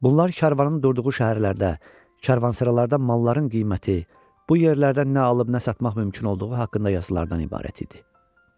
Bunlar karvanın durduğu şəhərlərdə, karvansaralarda malların qiyməti, bu yerlərdən nə alıb nə satmaq mümkün olduğu haqqında yazılardan ibarət idi.